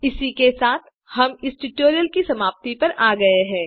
इसी के साथ हम इस ट्यूटोरियल की समाप्ति पर आ गये हैं